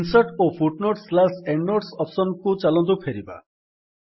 insert ଓ foot note end note option କୁ ଚାଲନ୍ତୁ ଫେରିବା